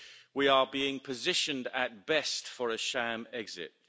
We are being positioned, at best, for a sham exit.